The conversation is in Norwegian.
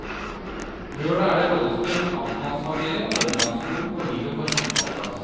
Lørdag er det rollespill om en amtmannsfamilie, omgangsskolen og livet på en husmannsplass.